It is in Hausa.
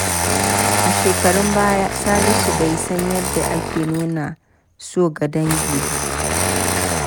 A shekarun baya, Salisu bai san yadda ake nuna so ga dangi ba.